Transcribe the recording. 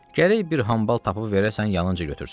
Gərək bir hambal tapıb verəsən, yanınca götürsün.